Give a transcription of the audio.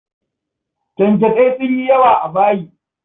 Kyankyasai sun yi yawa a bayi.